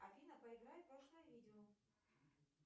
афина поиграй пошлое видео